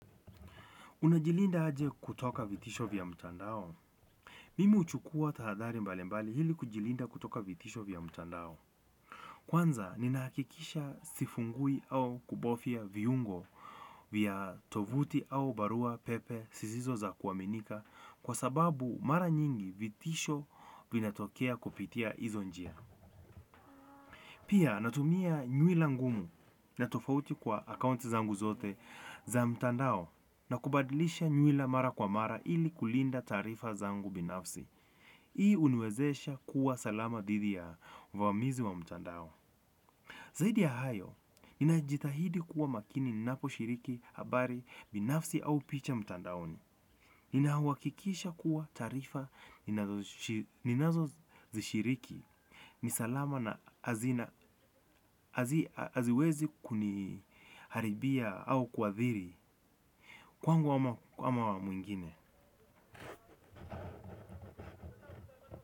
Unajilinda aje kutoka vitisho vya mtandao? Mimi uchukua tahadhari mbali mbali hili kujilinda kutoka vitisho vya mtandao. Kwanza, ninaakikisha sifungui au kubofia viungo vya tovuti au barua pepe sizizo za kuwaminika kwa sababu mara nyingi vitisho vina tokea kupitia hizo njia. Pia, natumia nyuila ngumu na tofauti kwa akaunti zangu zote za mtandao. Na kubadilisha nyuila mara kwa mara ili kulinda tarifa zangu binafsi. Hii unwezesha kuwa salama didhi ya uvamizi wa mtandao. Zahidi ya hayo najitahidi kuwa makini ninaposhiriki habari binafsi au picha mtandaoni. Nina wakikisha kuwa tarifa ninazo zishiriki. Ni salama na aziwezi kuniharibia au kuwathiri kwangu ama mwingine.